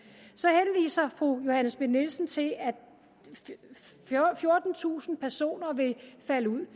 så fru johanne schmidt nielsen til at fjortentusind personer vil falde ud